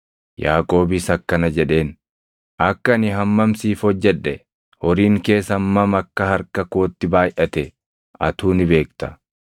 Yaaqoobis akkana jedheen; “Akka ani hammam siif hojjedhe, horiin kees hammam akka harka kootti baayʼate atuu ni beekta.